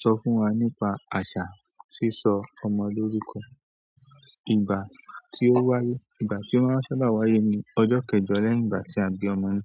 Sọ fún wa nípa àṣà sísọ ọmọ lórúkọ. Ìgbà tí ó wáyé, ìgbà tí ó máa sábà wáyé ni ọjọ́ kẹjọ lẹ́yìn ìgbà tí a bí ọmọ na.